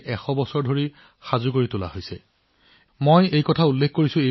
যেতিয়া ইনষ্টিটিউটে ইয়াৰ সৈতে সম্পৰ্কিত পাঠ্যক্ৰম আৰম্ভ কৰিছিল তেওঁলোকে যথেষ্ট সঁহাৰি লাভ কৰিছিল